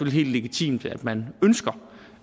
helt legitimt at man ønsker